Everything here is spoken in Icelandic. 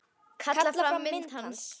Kalla fram mynd hans.